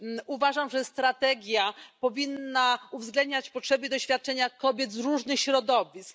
Uważam, że strategia powinna uwzględniać potrzeby i doświadczenia kobiet z różnych środowisk.